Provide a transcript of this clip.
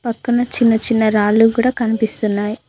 పక్కన చిన్న చిన్న రాళ్లు కూడా కనిపిస్తున్నాయ్.